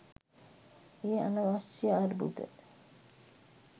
එය අනවශ්‍ය අර්බුද